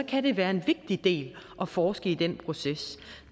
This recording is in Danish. kan det være en vigtig del at forske i den proces